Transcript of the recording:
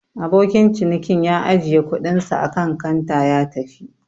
Abokin cinikin ya ajiye kuɗinsa akan kanta ya tafi.